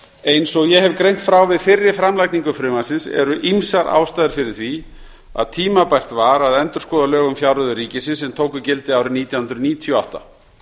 eins og ég hef greint frá við fyrri framlagningu frumvarpsins eru ýmsar ástæður fyrir því að tímabært var að endurskoða lög um fjárreiður ríkisins sem tóku gildi árið nítján hundruð níutíu og átta